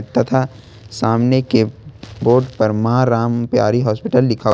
तथा सामने के बोर्ड पर मां राम प्यारी हॉस्पिटल लिखा हुआ हैं।